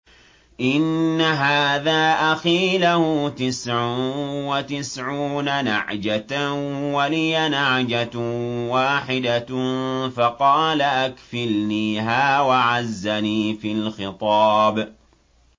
إِنَّ هَٰذَا أَخِي لَهُ تِسْعٌ وَتِسْعُونَ نَعْجَةً وَلِيَ نَعْجَةٌ وَاحِدَةٌ فَقَالَ أَكْفِلْنِيهَا وَعَزَّنِي فِي الْخِطَابِ